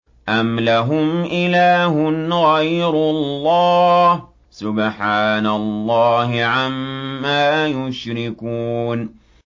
أَمْ لَهُمْ إِلَٰهٌ غَيْرُ اللَّهِ ۚ سُبْحَانَ اللَّهِ عَمَّا يُشْرِكُونَ